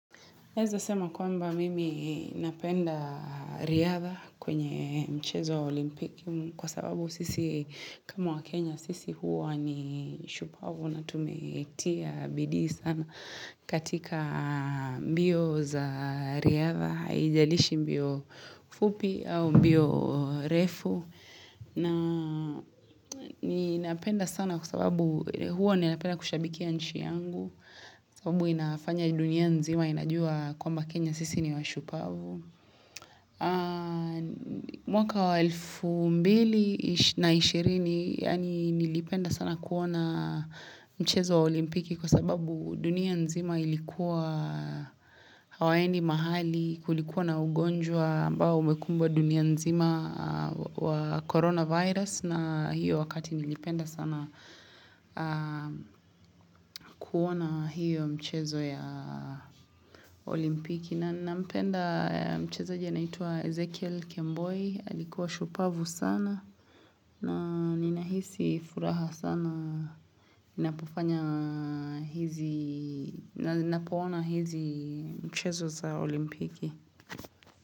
Naeza sema kwamba mimi napenda riadha kwenye mchezo wa olimpiki kwa sababu sisi kama waKenya sisi huwa ni shupavu na tumetia bidii sana katika mbio za riadha. Haijalishi mbio fupi au mbio refu na ninapenda sana kwa sababu huwa ninapenda kushabikia nchi yangu kwa sababu inafanya dunia nzima inajua kwamba Kenya sisi ni washupavu mwaka wa elfu mbili na ishirini yaani nilipenda sana kuona mchezo wa olimpiki kwa sababu dunia nzima ilikuwa hawaendi mahali kulikuwa na ugonjwa ambao umekumbwa dunia nzima wa coronavirus na hiyo wakati nilipenda sana kuona hiyo mchezo ya olimpiki. Na ninampenda mchezaji anayeitwa Ezekiel Kemboi. Alikuwa shupavu sana. Na ninahisi furaha sana napofanya hizi, napoona hizi mchezo za olimpiki.